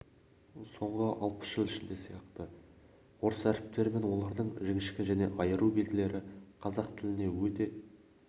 соңғы алпыс жыл ішінде сияқты орыс әріптері мен олардың жіңішке және айыру белгілері қазақ тіліне өте